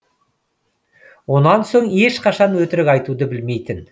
онан соң ешқашан өтірік айтуды білмейтін